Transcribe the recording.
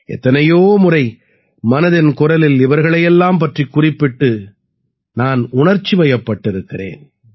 எத்தனையோ முறை மனதின் குரலில் இவர்களை எல்லாம் பற்றிக் குறிப்பிட்டு நான் உணர்ச்சிவயப்பட்டிருக்கிறேன்